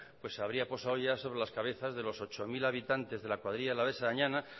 pues se habría posado ya sobre las cabezas de los ochocientos mil habitantes de la cuadrilla alavesa añana